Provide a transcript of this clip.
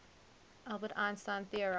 albert einstein theorized